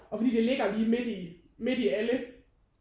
Og fordi det ligger lige midt i midt i alle